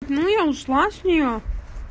ну я ушла с нее